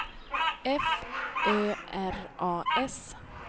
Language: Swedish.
F Ö R A S